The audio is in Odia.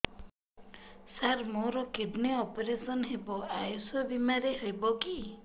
ସାର ମୋର କିଡ଼ନୀ ଅପେରସନ ହେବ ଆୟୁଷ ବିମାରେ ହେବ କି